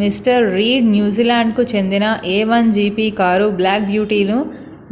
mister Reid న్యూజిలాండ్‌కు చెందిన a1gp car black beautyను